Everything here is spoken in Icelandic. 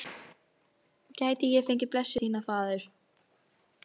Gæti ég fengið blessun þína, faðir?